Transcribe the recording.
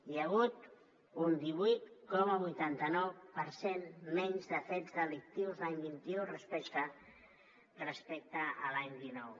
hi ha hagut un divuit coma vuitanta nou per cent menys de fets delictius l’any vint un respecte a l’any dinou